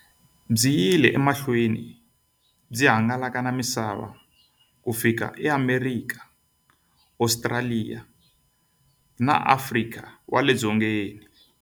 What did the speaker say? Byi yile emahlweni byi hangalaka na misava ku fika e Amerika, Ostraliya na Afrika wale dzongeni.